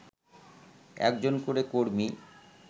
একজন করে কর্মী